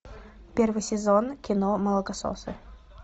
первый сезон кино молокососы